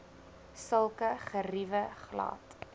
sulke geriewe glad